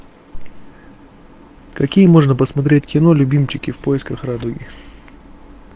какие можно посмотреть кино любимчики в поисках радуги